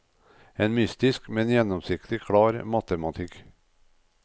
En mystisk, men gjennomsiktig klar matematikk.